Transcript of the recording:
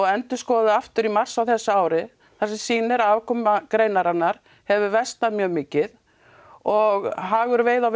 endurskoðuð aftur í mars á þessu ári þar sem sýnir að afkoma greinarinnar hefur versnað mjög mikið og hagur veiði og